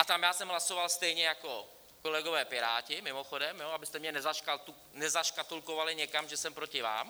A tam já jsem hlasoval stejně jako kolegové Piráti, mimochodem, abyste mě nezaškatulkovali někam, že jsem proti vám.